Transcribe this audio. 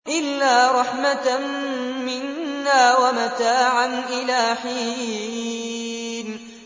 إِلَّا رَحْمَةً مِّنَّا وَمَتَاعًا إِلَىٰ حِينٍ